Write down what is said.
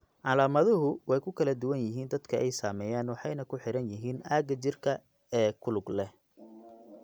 Calaamaduhu way ku kala duwan yihiin dadka ay saameeyeen waxayna ku xiran yihiin aagga jidhka ee ku lug leh.